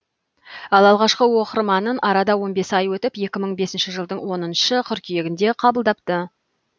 ал алғашқы оқырманын арада он бес ай өтіп екі мың бесінші жылдың он қыркүйегінде қабылдапты